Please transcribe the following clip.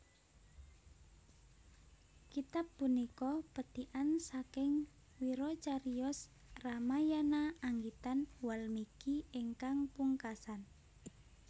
Kitab punika pethikan saking wiracariyos Ramayana anggitan Walmiki ingkang pungkasan